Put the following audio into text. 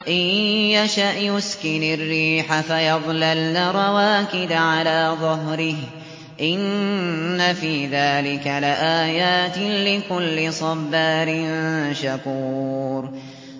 إِن يَشَأْ يُسْكِنِ الرِّيحَ فَيَظْلَلْنَ رَوَاكِدَ عَلَىٰ ظَهْرِهِ ۚ إِنَّ فِي ذَٰلِكَ لَآيَاتٍ لِّكُلِّ صَبَّارٍ شَكُورٍ